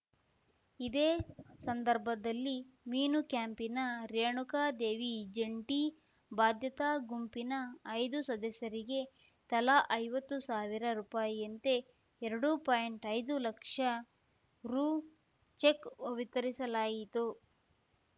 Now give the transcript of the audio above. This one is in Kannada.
ಇದೇ ಸಂದರ್ಭದಲ್ಲಿ ಮೀನು ಕ್ಯಾಂಪಿನ ರೇಣುಕ ದೇವಿ ಜಂಟಿ ಬಾಧ್ಯತಾ ಗುಂಪಿನ ಐದುಸದಸ್ಯೆರಿಗೆ ತಲಾ ಐವತ್ತು ಸಾವಿರ ರುಪಾಯಿಯಂತೆ ಎರಡು ಪಾಯಿಂಟ್ಐದು ಲಕ್ಷ ರು ಚೆಕ್‌ ವಿತರಿಸಲಾಯಿತು